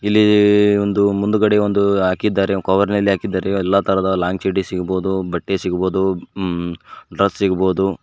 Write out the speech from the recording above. ಇಲ್ಲೀ ಒಂದು ಮುಂದ್ಗಡೆ ಒಂದು ಹಾಕಿದ್ದಾರೆ ಕವರ್ ನಲ್ಲಿ ಹಾಕಿದ್ದಾರೆ ಎಲ್ಲಾ ತರಹದ ಲಾಂಗ್ ಚಡ್ಡಿ ಸಿಗ್ಬೋದು ಬಟ್ಟೆ ಸಿಗ್ಬೋದು ಉ ಹಮ್ ಡ್ರೆಸ್ ಸಿಗ್ಬೋದು.